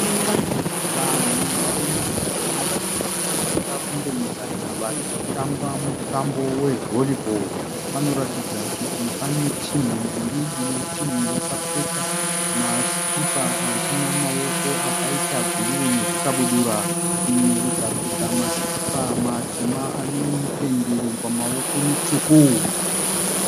Vanhu vanemuzera unoratidza kuti wakada kundoenzana varikuratidza kuti vatikutamba mutambo wevhoribhoo. Parikuratidza kuti pane matimu maviri sezvo imwe yacho yakapfeka masikipa aneruvara rwebhuruu imwe yacho ikapfeka masikipa matema anemipendero pamawoko mitsvuku.